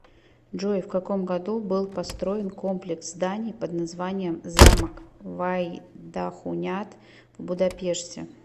джой в каком году был построен комплекс зданий под названием замок вайдахуняд в будапеште